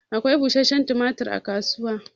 Akwai bushenshen tumatur a kasuwa.